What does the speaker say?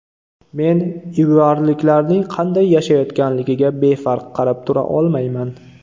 Men ivuarliklarning qanday yashayotganligiga befarq qarab tura olmayman.